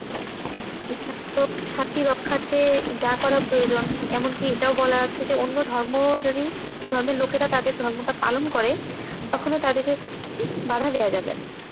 ইসলাম শান্তি রক্ষার্থে যা করা প্রয়োজন, এমন কি এটাও বলা আছে যে অন্য ধর্ম যদি~ ধর্মের লোকেরা তাদের ধর্মটা পালন করে কখনো তাদেরকে বাধা দেওয়া যাবেনা,